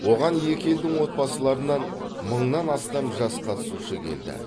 оған екі елдің отбасыларынан мыңнан астам жас қатысушы келді